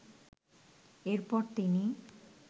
এরপর তিনি